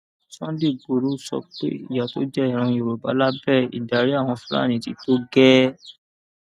sunday igboro sọ pé ìyà tó jẹ ìran yorùbá lábẹ ìdarí àwọn fúlàní ti tó gẹẹ